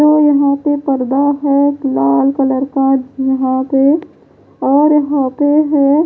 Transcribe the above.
यहां पे पर्दा है लाल कलर का यहां पे और यहां पे है --